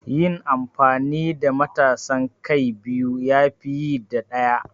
Yin amfani da matasan kai biyu ya fi yi da ɗaya.